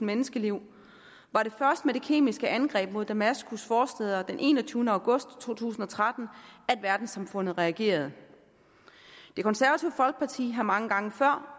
menneskeliv var det først med det kemiske angreb mod damaskus forstæder den enogtyvende august to tusind og tretten at verdenssamfundet reagerede det konservative folkeparti har mange gange før